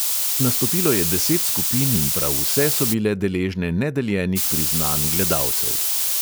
Nastopilo je deset skupin in prav vse so bile deležne nedeljenih priznanj gledalcev.